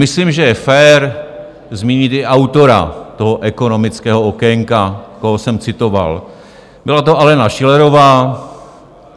Myslím, že je fér zmínit i autora toho ekonomického okénka, koho jsem citoval, byla to Alena Schillerová.